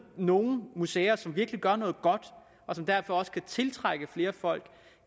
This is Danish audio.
nogle museer som virkelig gør noget godt og som derfor også kan tiltrække flere folk